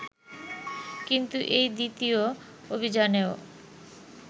কিন্তু এই দ্বিতীয় অভিযানেও